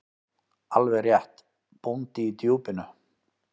Alveg rétt: Bóndi í Djúpinu.